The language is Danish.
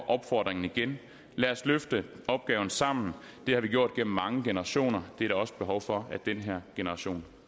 opfordringen igen lad os løfte opgaven sammen det har vi gjort gennem mange generationer det er der også behov for at den her generation